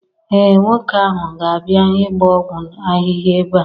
ee, nwoke ahu ga-abia ịgba ọgwụ ahịhịa ebe.